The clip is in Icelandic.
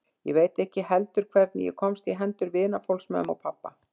Ég veit ekki heldur hvernig ég komst í hendur vinafólks mömmu og pabba.